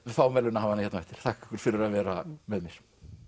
fáum verðlaunahafana hérna á eftir þakka ykkur fyrir að vera með mér